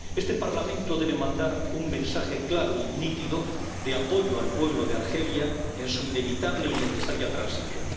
Este Parlamento debe mandar un mensaje claro y nítido de apoyo al pueblo de Argelia en su inevitable y necesaria transición.